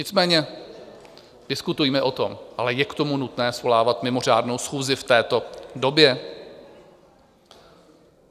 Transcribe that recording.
Nicméně diskutujme o tom, ale je k tomu nutné svolávat mimořádnou schůzi v této době?